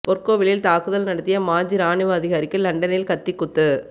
பொற்கோவிலில் தாக்குதல் நடத்திய மாஜி ராணுவ அதிகாரிக்கு லண்டனில் கத்திக் குத்து